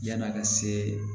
Yann'a ka se